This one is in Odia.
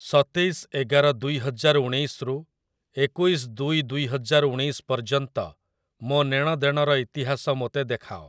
ସତେଇଶ ଏଗାର ଦୁଇହଜାର ଉଣେଇଶରୁ ଏକୋଇଶ ଦୁଇ ଦୁଇହଜାର ଉଣେଇଶ ପର୍ଯ୍ୟନ୍ତ ମୋ ନେଣଦେଣର ଇତିହାସ ମୋତେ ଦେଖାଅ ।